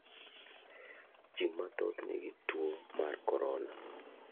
Ji mathoth ni gi tu mar korona.